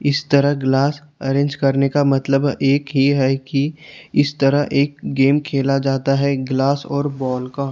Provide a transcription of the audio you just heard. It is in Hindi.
इस तरह ग्लास अरेंज करने का मतलब एक ये है कि इस तरह एक गेम खेला जाता है ग्लास और बाल का।